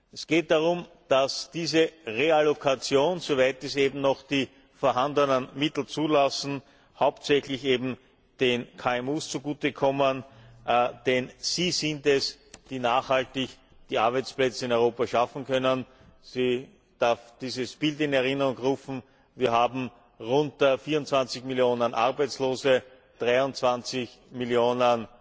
Es geht darum, dass diese Reallokation, soweit es eben die vorhandenen Mittel noch zulassen, hauptsächlich eben den KMU zugute kommt, denn sie sind es, die nachhaltig die Arbeitsplätze in Europa schaffen können. Ich darf dieses Bild in Erinnerung rufen Wir haben rund 24 Millionen Arbeitslose, 23 Millionen